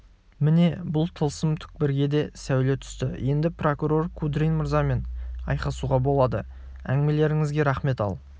міне бұл тылсым түкпірге де сәуле түсті енді прокурор кудрин мырзамен айқасуға болады әңгімелеріңізге рақмет ал